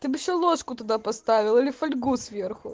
ты бы ещё ложку туда поставил или фольгу сверху